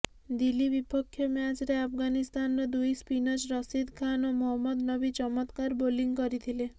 ଦିଲ୍ଲୀ ବିପକ୍ଷ ମ୍ୟାଚରେ ଆଫଗାନିସ୍ତାନର ଦୁଇ ସ୍ପିନର ରଶିଦ୍ ଖାନ୍ ଓ ମହମ୍ମଦ ନବି ଚମତ୍କାର ବୋଲିଂ କରିଥିଲେ